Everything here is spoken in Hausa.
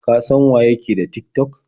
Ka san waye ke da Tik-tok?